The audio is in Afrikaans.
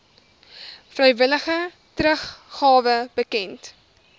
vrywillige teruggawe bekend